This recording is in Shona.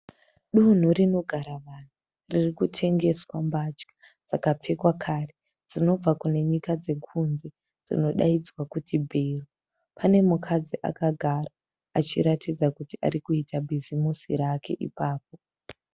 Donho rinogara vanhu ririkutengeswa mbatya dzakapfekwa kare dzinobva kunenyika dzekunze dzinodaidzwa kuti bhero. Panemukadzi akagara achiratidza kuti arikuita bhizimusi rake ipapo.